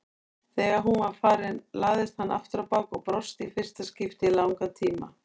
Þegar hún var farin lagðist hann afturábak og brosti í fyrsta skipti í langan tíma.